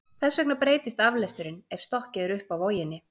þess vegna breytist aflesturinn ef stokkið er upp af voginni